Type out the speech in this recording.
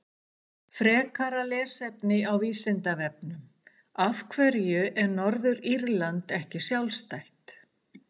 Frekara lesefni á Vísindavefnum: Af hverju er Norður-Írland ekki sjálfstætt?